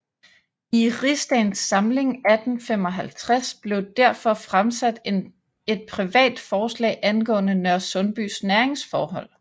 I rigsdagens samling 1855 blev derfor fremsat et privat forslag angående Nørresundbys næringsforhold